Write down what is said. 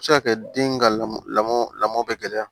A bɛ se ka kɛ den ka lamɔ lamɔ bɛ gɛlɛya